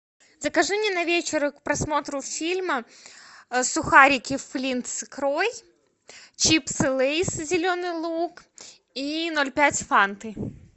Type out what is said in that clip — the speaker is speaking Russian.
закажи мне на вечер к просмотру фильма сухарики флинт с икрой чипсы лейс зеленый лук и ноль пять фанты